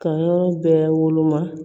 Ka yɔrɔ bɛɛ woloma